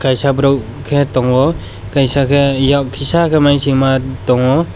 kaisa borok khe tongo kaisa khe yak kisa khe mainsima tongo.